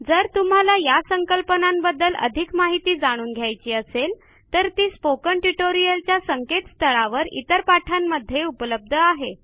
जर तुम्हाला या संकल्पनांबद्दल अधिक माहिती जाणून घ्यायची असेल तर ती स्पोकन ट्युटोरियलच्या संकेतस्थळावर इतर पाठांमध्ये उपलब्ध आहे